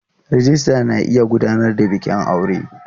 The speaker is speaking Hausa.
Rijista na iya gudanar da bikin aure.